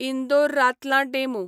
Indore Ratlam DEMU